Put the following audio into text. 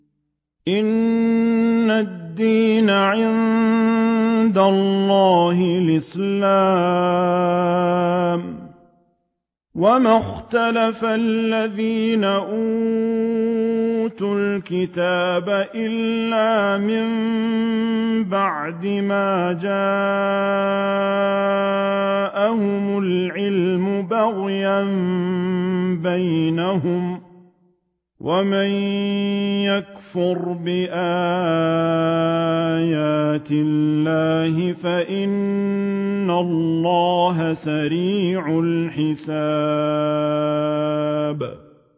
إِنَّ الدِّينَ عِندَ اللَّهِ الْإِسْلَامُ ۗ وَمَا اخْتَلَفَ الَّذِينَ أُوتُوا الْكِتَابَ إِلَّا مِن بَعْدِ مَا جَاءَهُمُ الْعِلْمُ بَغْيًا بَيْنَهُمْ ۗ وَمَن يَكْفُرْ بِآيَاتِ اللَّهِ فَإِنَّ اللَّهَ سَرِيعُ الْحِسَابِ